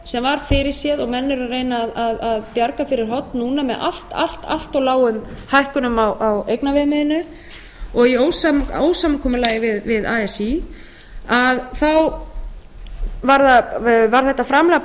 sem var fyrirséð og menn eru að reyna að bjarga fyrir horn núna með allt allt allt of lágum hækkunum á eignaviðmiðinu og í ósamkomulagi við así að þá var þetta framlag